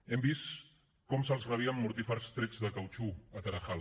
hem vist com se’ls rebia amb mortífers trets de cautxú al tarajal